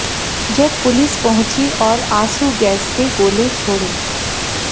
जब पुलिस पहुंची और आंसू गैस के गोले छोड़े